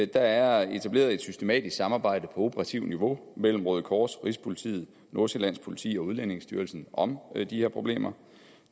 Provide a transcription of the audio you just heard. der er etableret et systematisk samarbejde på operativt niveau mellem røde kors rigspolitiet nordsjællands politi og udlændingestyrelsen om de her problemer